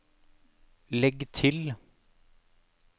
legg til